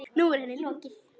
Nú er henni lokið.